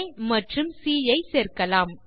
ஆ மற்றும் சி ஐ சேர்க்கலாம்